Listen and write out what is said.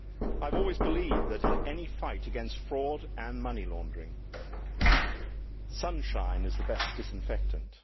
I have always believed that, in any fight against fraud and money laundering, sunshine is the best disinfectant.